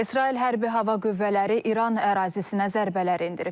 İsrail hərbi hava qüvvələri İran ərazisinə zərbələr endirib.